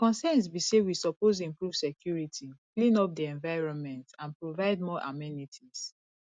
di concerns be say we suppose improve security clean up di environment and provide more amenities